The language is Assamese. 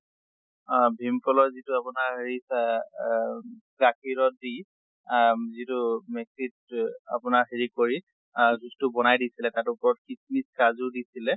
আহ ভীম কলৰ যিটো আপোনাৰ হেৰি চা আহ গাখীৰত দি আহ যিটো mix ত হ আপোনাৰ হেৰি কৰি আহ juice টো বনাই দিছিলে। তাৰ ওপৰত কিচ্মিচ কাজু দিছিলে